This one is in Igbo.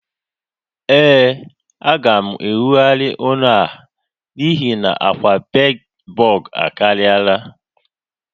Ee, a ga m enwogharị ụlọ a n'ihi na akwa bedbug akariala